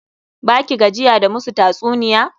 Ba ki gajiya da musu tatsuniya?